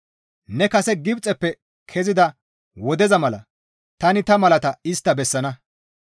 Ne kase Gibxeppe kezida wodeza mala tani ta malata istta bessana.